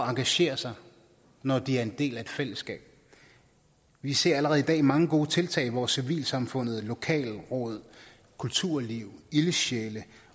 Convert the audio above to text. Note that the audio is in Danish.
engagerer sig når de er en del af et fællesskab vi ser allerede i dag mange gode tiltag hvor civilsamfundet lokalråd kulturliv ildsjæle